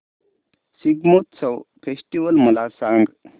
Shigmotsav festival मला सांग